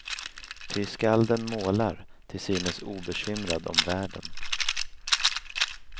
Ty skalden målar, till synes obekymrad om världen.